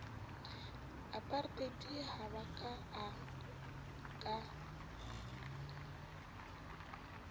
apartheid ha ba a ka